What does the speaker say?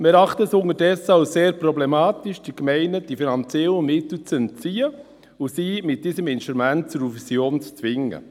Wir erachten es unterdessen als sehr problematisch, den Gemeinden die finanziellen Mittel zu entziehen und sie mit diesem Instrument zu einer Fusion zu zwingen.